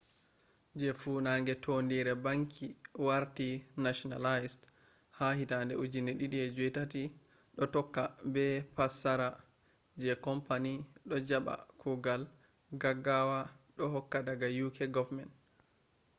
je funange tondire banki warti nationalized ha 2008 do tokka be passara je company do jaba kugal gaggawa do hokka daga uk government